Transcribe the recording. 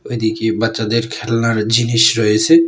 ওইদিকে বাচ্চাদের খেলনার জিনিস রয়েছে।